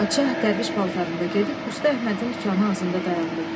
Padşah dərviş paltarında gedib usta Əhmədin dükanı ağzında dayandı.